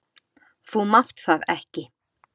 Þú mátt það ekki!